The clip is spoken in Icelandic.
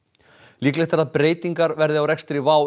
líklegt er að breytingar verði á rekstri WOW